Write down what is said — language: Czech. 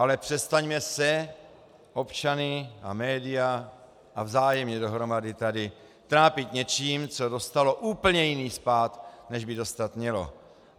Ale přestaňme se, občany a média a vzájemně dohromady tady, trápit něčím, co dostalo úplně jiný spád, než by dostat mělo.